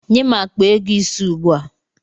Nye m akpa ego ise ugbua!